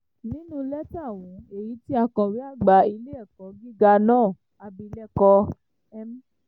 nínú lẹ́tà ọ̀hún èyí tí akọ̀wé àgbà ilé-ẹ̀kọ́ gíga náà abilékọ m